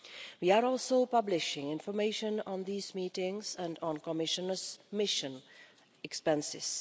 We are also publishing information on these meetings and on Commissioners' mission expenses.